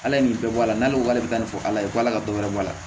Ala ye nin bɛɛ bɔ a la n'ale k'ale bɛ ka nin fɔ ala ye ala ka dɔ wɛrɛ bɔ a la